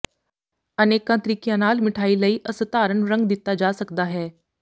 ਅਨੇਕਾਂ ਤਰੀਕਿਆਂ ਨਾਲ ਮਿਠਾਈ ਲਈ ਅਸਧਾਰਨ ਰੰਗ ਦਿੱਤਾ ਜਾ ਸਕਦਾ ਹੈ